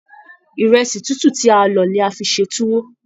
Ìrẹ̀sì tútù tí a lọ ní a fí n ṣe tuwo.